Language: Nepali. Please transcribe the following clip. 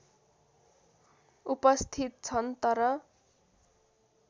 उपस्थित छन् तर